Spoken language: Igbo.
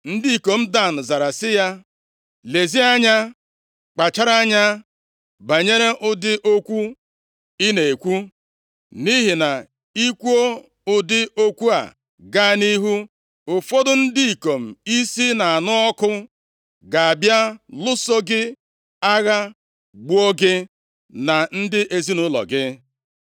Ndị ikom Dan zara sị ya, “Lezie anya kpachara anya banyere ụdị okwu ị na-ekwu. Nʼihi na i kwuo ụdị okwu a gaa nʼihu, ụfọdụ ndị ikom isi na-anụ ọkụ ga-abịa lụso gị agha gbuo gị na ndị ezinaụlọ gị.”